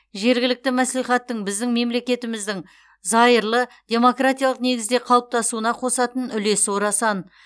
жергілікті мәслихаттың біздің мемлекетіміздің зайырлы демократиялық негізде қалыптасуына қосатын үлесі орасан